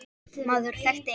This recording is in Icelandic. Maður þekkti engan.